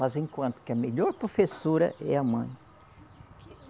Mas, enquanto que a melhor professora é a mãe. Que